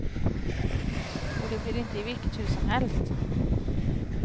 Och det blir inte i vilket hus som helst.